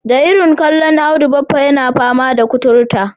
Da irin kallon Audu baffa yana fama da kuturta.